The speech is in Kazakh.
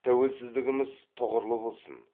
тәуелсіздігіміз тұғырлы болсын